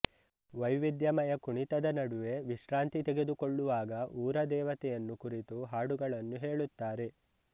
ವೈವಿಧ್ಯಮಯ ಕುಣಿತದ ನಡುವೆ ವಿಶ್ರಾಂತಿ ತೆಗೆದುಕೊಳ್ಳುವಾಗ ಊರದೇವತೆಯನ್ನು ಕುರಿತು ಹಾಡುಗಳನ್ನು ಹೇಳುತ್ತಾರೆ